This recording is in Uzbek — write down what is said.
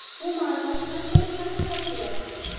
Bu ma’lumot qanchalik haqiqatga yaqin?